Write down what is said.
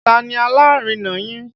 Ta ni alárinà yín?